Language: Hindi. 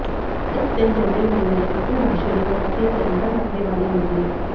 इस दिन जन्मी महिलाएं कटुभाषिणी व पति से अनबन रखने वाली होती हैं